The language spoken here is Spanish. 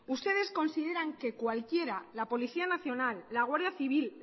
ustedes consideran que cualquiera la policía nacional la guardia civil